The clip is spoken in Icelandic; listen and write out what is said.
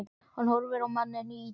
Hann horfir á manninn í ýtunni.